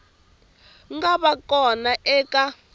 nga va ka kona eka